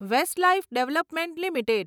Westlife development limited